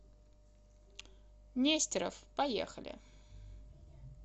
нестеров поехали